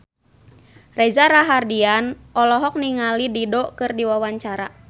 Reza Rahardian olohok ningali Dido keur diwawancara